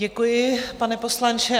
Děkuji, pane poslanče.